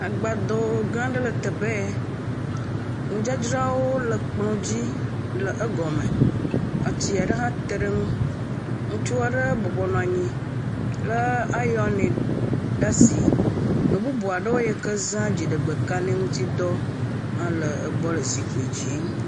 Agbado gã aɖe le teƒe ya. Nudzadzrawo le ekplɔ dzi le egɔme. Atsi aɖe hã te ɖe eŋu. Ŋutsu aɖe bɔbɔnɔ anyi le ayɔni ɖe asi. Nu bubu aɖewo yi ke za dziɖegbe kaɖi ŋutsi dɔ hã le egbɔ le zikpui dzi.